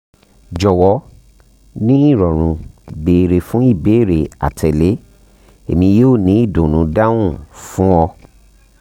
jọwọ ni irọrun beere fun ibeere atẹle emi yoo ni idunnu dahun fun fun ọ